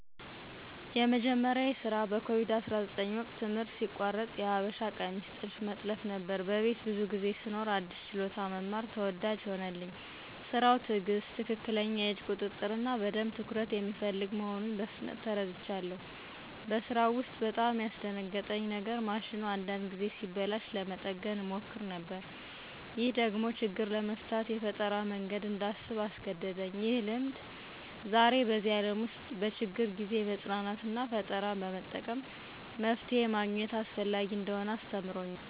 የመጀመሪያዬ ስራ በኮቪድ-19 ወቅት ትምህርት ሲቋረጥ የሀበሻ ቀሚስ ጥልፍ መጥለፍ ነበር። በቤት ብዙ ጊዜ ስኖር አዲስ ችሎታ መማር ተወዳጅ ሆነልኝ። ስራው ትዕግሥት፣ ትክክለኛ የእጅ ቁጥጥር እና በደንብ ትኩረት የሚፈልግ መሆኑን በፍጥነት ተረድቻለሁ። በስራው ውስጥ በጣም ያስደነግጠኝ የነገር ማሽኑ አንዳንድ ጊዜ ሲበላሽ ለመጠገን እሞክር ነበር። ይህ ደግሞ ችግር ለመፍታት የፈጠራ መንገድ እንዳስብ አስገደደኝ። ይህ ልምድ ዛሬ በዚህ ዓለም ውስጥ በችግር ጊዜ መጽናናትና ፈጠራ በመጠቀም መፍትሄ ማግኘት አስፈላጊ እንደሆነ አስተምሮኛል።